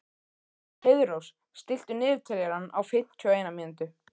Heiðrós, stilltu niðurteljara á fimmtíu og eina mínútur.